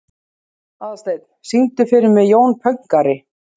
Aðalsteinn, syngdu fyrir mig „Jón Pönkari“.